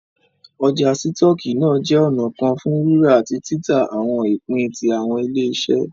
Ọ́jà sítoọki náà jẹ ọ̀nà kan fún rírà àti tìtà awọn ìpín tí awọn ile-iṣẹ